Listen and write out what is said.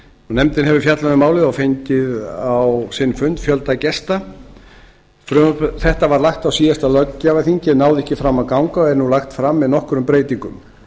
nefndin hefur fjallað um málið og fengið á sinn fund fjölda gesta frumvarp þetta var lagt fram á síðasta löggjafarþingi en náði ekki fram að ganga og er nú lagt fram með nokkrum breytingum